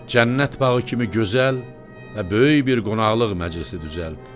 Cənnət bağı kimi gözəl və böyük bir qonaqlıq məclisi düzəlt.